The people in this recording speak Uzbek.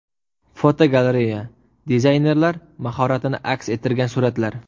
Fotogalereya: Dizaynerlar mahoratini aks ettirgan suratlar.